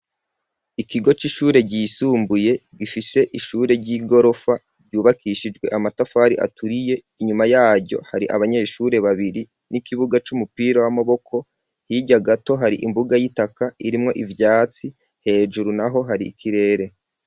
Ikigo c'ishure ry'isumbuye gifise ishure ry'igorofa ryubakishijwe amatafari aturiye inyuma yaryo hari abanyeshure babiri n'ikibuga c'umupira w'amaboko hirya gato hari imbuga y'itaka irimwo ivyatsi hejuru naho hari ikirere.